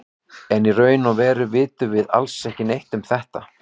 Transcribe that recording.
En í raun og veru vitum við alls ekki neitt um þetta.